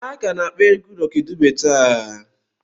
A ka na-akpọ egwu Lọki Dube taa.